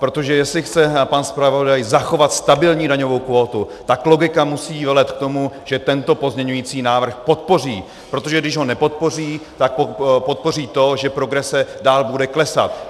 Protože jestli chce pan zpravodaj zachovat stabilní daňovou kvótu, tak logika musí velet k tomu, že tento pozměňující návrh podpoří, protože když ho nepodpoří, tak podpoří to, že progrese dál bude klesat.